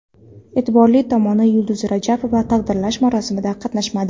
E’tiborli tomoni, Yulduz Rajabova taqdirlash marosimida qatnashmadi .